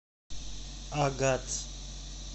агат